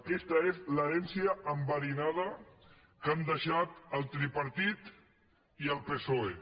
aquesta és l’herència enverinada que han deixat el tripartit i el psoe